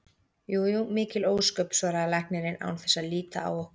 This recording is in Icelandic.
Jú jú, mikil ósköp, svaraði læknirinn án þess að líta á okkur.